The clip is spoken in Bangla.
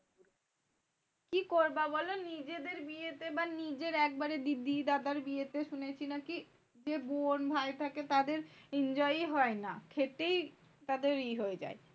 কি করব বল নিজেদের বিয়েতে? বা নিজের একবার দিদির আবার বিয়েতে শুনেছি নাকি? যে বোন-ভাই থাকে তাদের enjoy ই হয় না। খেটেই তাদের ই হয়ে যার।